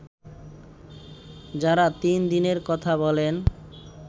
যারা তিন দিনের কথা বলেন